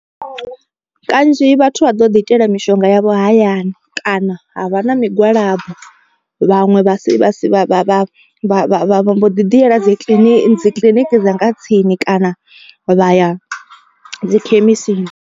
Kanzhi vhathu vha ḓo ḓi itela mishonga yavho hayani kana ha vha na migwalabo. Vhaṅwe vha si vha si vha vha vha vha vho ḓi ḓi yela dzi kiḽiniki dzi kiḽiniki dza nga tsini kana vha ya dzi khemisini.